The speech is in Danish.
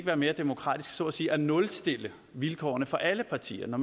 være mere demokratisk så at sige at nulstille vilkårene for alle partier når